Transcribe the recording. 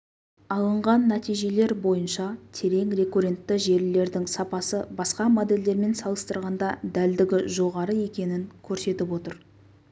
алынған нәтижелер бойынша терең рекуррентті желілердің сапасы басқа модельдермен салыстырғанда дәлдігі жоғары екенін көрсетіп отыр